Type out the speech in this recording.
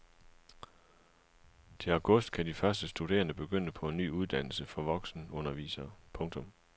Til august kan de første studerende begynde på en ny uddannelse for voksenundervisere. punktum